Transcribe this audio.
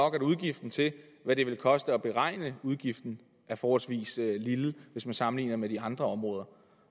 at udgiften til hvad det vil koste at beregne udgiften er forholdsvis lille hvis man sammenligner det med de andre områder